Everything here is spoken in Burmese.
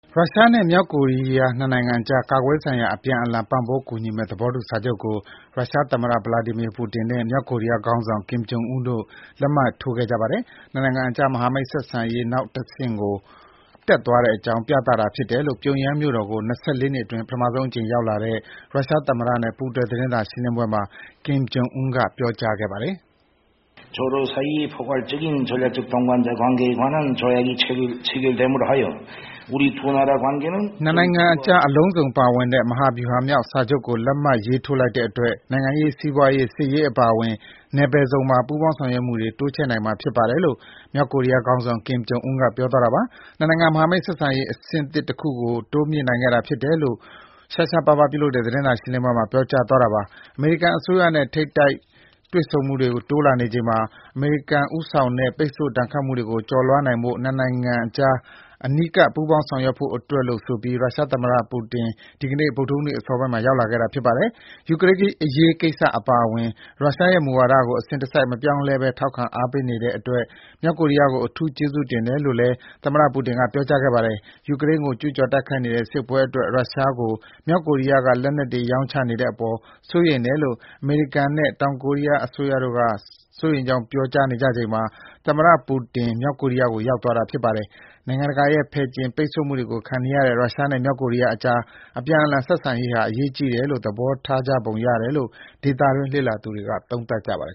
ရုရှားနဲ့ မြောက်ကိုရီးယား ၂ နိုင်ငံကြား ကာကွယ်ရေးဆိုင်ရာ အပြန်အလှန် ပံ့ပိုးကူညီမယ့် သဘောတူစာချုပ်ကို ရုရှားသမ္မတ ဗလာဒီမီယာပူတင်နဲ့ မြောက်ကိုရီးယားခေါင်းဆောင် ကင်ဂျွန်အွန်းတို့လက်မှတ်ထိုးခဲ့ကြပါတယ်။ ၂ နိုင်ငံကြား မဟာမိတ်ဆက်ဆံရေးနောက်အဆင့်ကို တက်သွားကြောင်း ပြသတာဖြစ်တယ်လို့ ပြုံယမ်းမြို့တော်ကို ၂၄ နှစ်အတွင်း ပထမဆုံးရောက်လာတဲ့ ရုရှားသမ္မတနဲ့ ပူးတွဲသတင်းစာရှင်းပွဲမှာ ကင်ဂျွန်အွန်းကခုလိုပြောကြားခဲ့ပါတယ်။ ၂ နိုင်ငံကြား အလုံးစုံပါဝင်တဲ့ မဟာဗျူဟာမြောက်စာချုပ်ကို လက်မှတ်ရေးထိုးလိုက်တဲ့အတွက် နိုင်ငံရေး၊ စီးပွားရေး၊ စစ်ရေးအပါအဝင် နယ်ပယ်စုံမှာ ပူးပေါင်းဆောင်ရွက်မှုတွေ တိုးချဲ့နိုင်မှာဖြစ်ပါတယ်လို့ မြောက်ကိုရီးယားခေါင်းဆောင် ကင်ဂျွန်အွန်းကပြောကြားခဲ့တာပါ။ ၂ နိုင်ငံ မဟာမိတ်ဆက်ဆံရေး အဆင့်သစ်တခုကို တိုးမြှင့်နိုင်ခဲ့တာဖြစ်တယ်လို့ ရှားရှားပါးပါး ပြုလုပ်တဲ့သတင်းစာရှင်းပွဲမှာ ပြောကြားသွားတာပါ။ အမေရိကန်အစိုးရနဲ့ ထိပ်တိုက်တွေ့မှုတွေ တိုးလာနေချိန် အမေရိကန်ဦးဆောင်တဲ့ ပိတ်ဆို့ဒဏ်ခတ်မှုတွေ ကျော်လွှားနိုင်ဖို့ ၂ နိုင်ငံကြား အနီးကပ် ပူးပေါင်းဆောင်ရွက်ဖို့အတွက်လို့ ဆိုပြီး ရုရှားသမ္မတပူတင် ဒီနေ့ ဗုဒ္ဓဟူးနေ့ အစောပိုင်းမှာ ရောက်လာခဲ့တာပါ။ ယူကရိန်းအရေးကိစ္စအပါအဝင် ရုရှားရဲ့ မူဝါဒတွေကို အစဉ်တစိုက် မပြောင်းလဲဘဲ ထောက်ခံ ပေးနေတဲ့အတွက် မြောက်ကိုရီးယားကို အထူးကျေးဇူးတင်တယ်လို့လည်း သမ္မတပူတင်က ပြောကြားခဲ့ပါတယ်။ ယူကရိန်းကို ကျူးကျော်တိုက်နေတဲ့ စစ်ပွဲအတွက် ရုရှားကို မြောက်ကိုရီးယားက လက်နက်တွေ ရောင်းချနေတဲ့အပေါ် စိုးရိမ်တယ်လို့ အမေရိကန်နဲ့ တောင်ကိုရီးယားအစိုးရတို့က စိုးရိမ်ကြောင်း ပြောကြားနေချိန်မှာ သမ္မတပူတင် မြောက်ကိုရီးယားသွားတာြဖစ်ပါတယ်။ နိုင်ငံတကာရဲ့ ဖယ်ကျဉ် ပိတ်ဆို့မှုတွေခံနေရတဲ့ ရုရှားနဲ့ မြောက်ကိုရီးယားကြား အပြန်အလှန် ဆက်ဆံရေးဟာ အရေးကြီးတယ်လို့ သဘောထားကြပုံရတယ်လို့ ဒေသတွင်းလေ့လာသူတွေက သုံးသပ်ကြပါတယ်